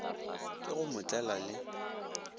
ke go mo tlela le